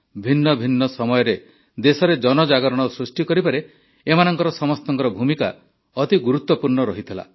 ଭିନ୍ନ ଭିନ୍ନ ସମୟରେ ଦେଶରେ ଜନଜାଗରଣ ସୃଷ୍ଟି କରିବାରେ ଏମାନଙ୍କ ସମସ୍ତଙ୍କ ଭୂମିକା ଗୁରୁତ୍ୱପୂର୍ଣ୍ଣ ରହିଥିଲା